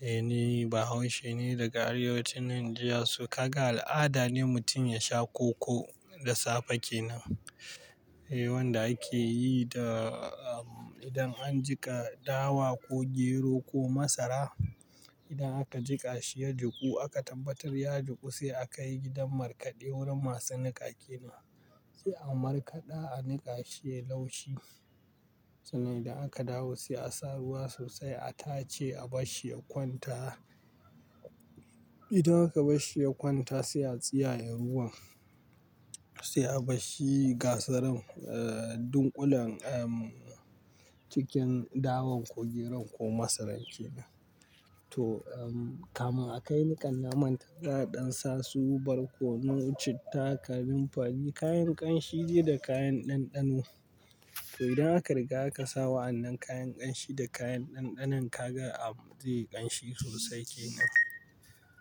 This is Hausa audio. Eh ni Bahaushe ne daga arewacin Najeriya. So kaga al'ada ne mutum ya sha koko da safe kenan. Eh wanda ake yi da, um, idan an jiƙa dawa ko gero ko masara. Idan aka jiƙa shi ya juku aka tabbatar ya juku sai akai gidan markaɗe wurin masu niƙa kenan. Sai a markaɗa a niƙa shi yai laushi. Sannan da aka dawo sai a sa ruwa sosai a tace a bashshi ya kwanta. Idan aka bashshi kwanta sai a tsiyaye ruwan sai a bashshi gasaran, eh, dunkulen, um, cikin dawan ko geron ko masaran kenan. To, um, kamin akai nikan na manta za a ɗan sasu, barkono, citta, kamin fari kayan ƙanshi dai da kayan ɗanɗano. To idan aka riga aka sa wa'annan kayan ƙanshi da kayan ɗanɗanon kaga, um, zai ƙanshi sosai kenan.